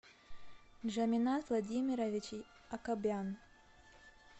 джамина владимирович акобян